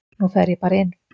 Nú fer ég bara inn.